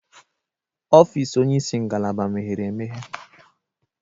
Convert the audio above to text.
Ọfịs onyeisi ngalaba meghere emeghe.